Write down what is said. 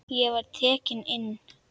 Ég var tekinn inn.